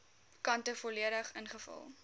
kante volledig ingevul